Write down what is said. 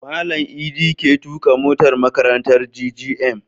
Malan idi ke tuƙa motar makarantar GGM